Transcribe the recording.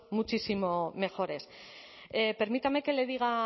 muchísimo mejores permítame que le diga